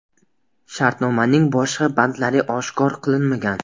Shartnomaning boshqa bandlari oshkor qilinmagan.